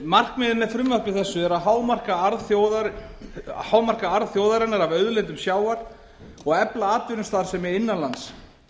markmiðið með frumvarpi þessu er að hámarka arð þjóðarinnar af auðlindum sjávar og efla atvinnustarfsemi innan lands